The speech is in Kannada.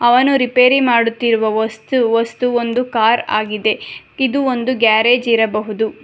ಅವನು ರಿಪೇರಿ ಮಾಡುತ್ತಿರುವ ವಸ್ತು ವಸ್ತು ಒಂದು ಕಾರ್ ಆಗಿದೆ ಇದು ಒಂದು ಗ್ಯಾರೇಜ್ ಇರಬಹುದು.